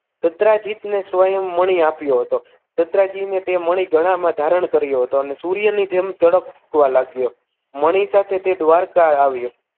દત્રાજીત ને સ્વયં મણી આપ્યો હતો દત્રાજીને તે મણી ગળામાં ધારણ કર્યું હતું અને સૂર્ય ની જેમ ચળકવા લાગ્યો હતો મણી સાથે તે દ્વારકા આવ્યો